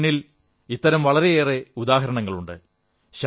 നമ്മുടെ മുന്നിൽ ഇത്തരം വളരെയേറെ ഉദാഹരണങ്ങളുണ്ട്